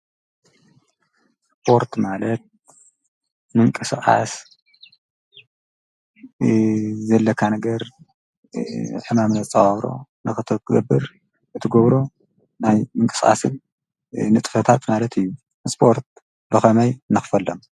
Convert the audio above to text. ስፖርት ማለት ምንቅስቃስ ዘለካ ነገር ሕማም ንክትፃወሮ እትገብሮ ናይ ምንቅስቃስን ንጥፈታት ማለት እዩ። ስፖርት ብከመይ ንክፈሎም ?